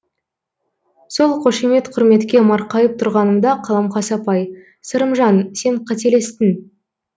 сол қошемет құрметке марқайып тұрғанымда қаламқас апай сырымжан сен қателестің